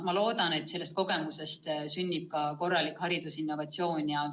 Ma loodan, et sellest kogemusest sünnib korralik haridusinnovatsioon.